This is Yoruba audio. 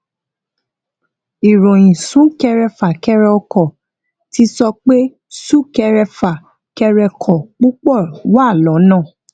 ìròyìn súnkẹrẹ fàkẹrẹ ọkọ ti sọ pé súkẹrẹfà kẹrẹkọ púpọ wà lọnà